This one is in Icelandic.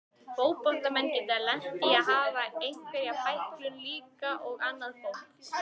Fótboltamenn geta lent í að hafa einhverja bæklun líka og annað fólk.